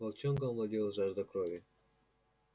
волчонком овладела жажда крови